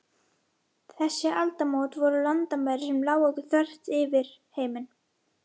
Þessi aldamót voru landamæri sem lágu þvert yfir heiminn.